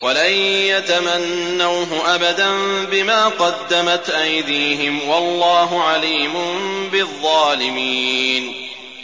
وَلَن يَتَمَنَّوْهُ أَبَدًا بِمَا قَدَّمَتْ أَيْدِيهِمْ ۗ وَاللَّهُ عَلِيمٌ بِالظَّالِمِينَ